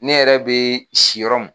Ne yɛrɛ bɛ si yɔrɔ min.